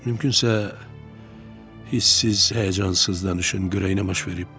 Mümkünsə hiss-siz, həyəcansız danışın, görək nə baş verib.